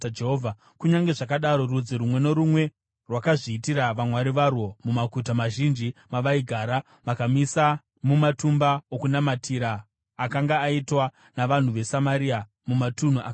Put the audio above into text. Kunyange zvakadaro, rudzi rumwe norumwe rwakazviitira vamwari varwo mumaguta mazhinji mavaigara, vakavamisa mumatumba okunamatira akanga aitwa navanhu veSamaria mumatunhu akakwirira.